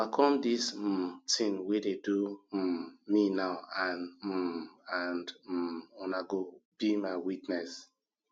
overcome dis um thing wey dey do um me now and um and um una go be my witness